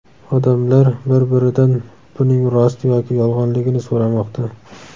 Odamlar bir-biridan buning rost yoki yolg‘onligini so‘ramoqda.